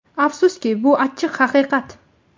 Afsuski, bu achchiq haqiqat.